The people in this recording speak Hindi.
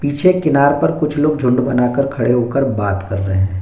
पीछे किनार पर कुछ लोग झुंड बनाकर खड़े होकर बात कर रहे हैं।